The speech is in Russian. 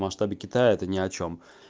в масштабе китая это ни о чем